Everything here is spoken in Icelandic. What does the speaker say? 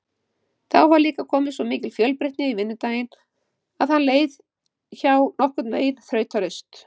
Þá var líka komin svo mikil fjölbreytni í vinnudaginn að hann leið hjá nokkurnveginn þrautalaust.